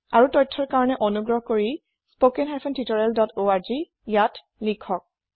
আৰু তথ্যৰ কাৰণে অনুগ্ৰহ কৰি স্পোকেন হাইফেন টিউটৰিয়েল ডট orgত খবৰ কৰক